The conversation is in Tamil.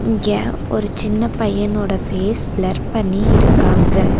இங்க ஒரு சின்ன பையனோட ஃபேஸ் பிளர் பண்ணிருக்காங்க.